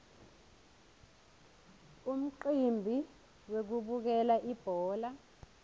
umcimbi wekubukela ibhola